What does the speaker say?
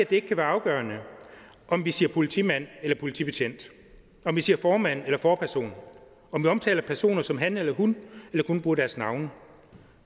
det ikke kan være afgørende om vi siger politimand eller politibetjent om vi siger formand eller forperson om vi omtaler personer som han eller hun eller kun bruger deres navne